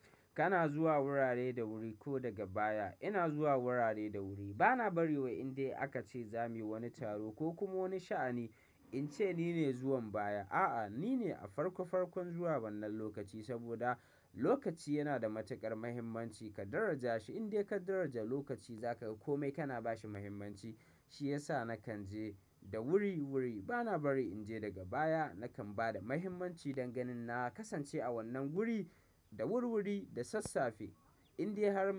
Kana zuwa wurare da wuri ko daga baya? Ina zuwa wurare da wuri. Bana bari wai indai aka ce zamuyi wani taro ko kuma wani sha'ani in ce nine zuwan baya. A'a, nine a farko farkon zuwa wannan lokaci, saboda lokaci yana da matuƙar mahimmanci. Ka daraja shi. Indai ka daraja lokaci zaka ga kome kana bashi muhimmanci. Shi yasa nakan je da wuri-wuri. Bana bari in je daga baya. Nakan ba da mahimmanci danganin na kasance a wannan wuri, da wurwuri da sassafe. Indai har.